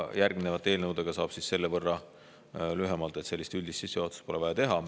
Järgmiste eelnõude puhul räägin selle võrra lühemalt, et üldist sissejuhatust pole vaja teha.